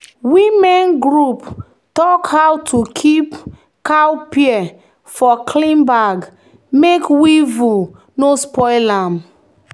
"women group talk how to keep cowpea for clean bag make weevil no spoil am."